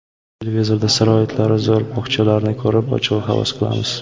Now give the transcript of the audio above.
Televizorda sharoitlari zo‘r bog‘chalarni ko‘rib, ochig‘i havas qilamiz.